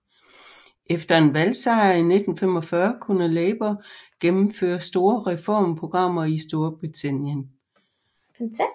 Efter en valgsejr i 1945 kunne Labour gennemføre store reformprogrammer i Storbritannien